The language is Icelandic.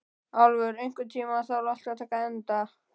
Álfur, einhvern tímann þarf allt að taka enda.